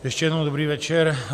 Ještě jednou dobrý večer.